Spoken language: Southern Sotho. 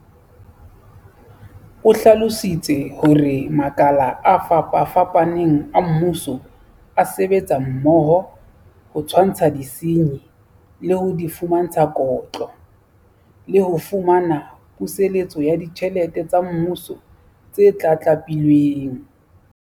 O hlalositse hore makala a fapafapaneng a mmuso a sebetsa mmoho ho tshwantsha disenyi, le ho di fumantsha kotlo, le ho fumana puseletso ya ditjhelete tsa Mmuso tse tlatlapilweng.